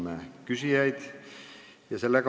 Tänan küsijaid!